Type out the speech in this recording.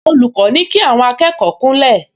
Olùkọ́ ní kí àwọn akẹ́kọ̀ọ kúnlẹ̀